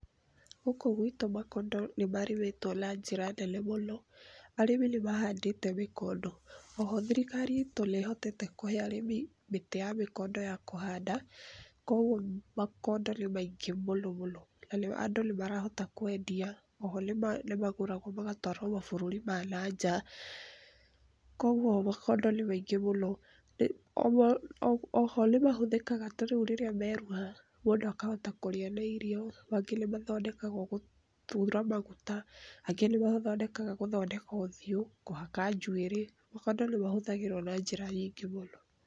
Gũkũ gwitũ makondo nĩmarĩmĩtwo na njĩra nene mũno. Arĩmi nĩ mahandĩte mĩkondo. Oho thirikari itũ ĩhotete kũhe arĩmi mĩtĩ ya mĩkondo ya kũhanda, kwoguo makondo nĩ maingĩ mũno mũno na andũ nĩ marahota kwendia, oho nĩmagũragwo magatwarwo mabũrũri ma na nja kwa ũguo makondo nĩ maingĩ mũno. Oho nĩmahũthĩkaga tarĩu rĩrĩa meerua mũndũ akahota kũrĩa na irio, mangĩ nĩmathondekagwo gũthura maguta, angĩ nĩmamathondekaga gũthondeka ũthiũ, kũhaka njuĩrĩ, makondo nĩmahũthgĩrwo na njĩra nyingĩ mũno.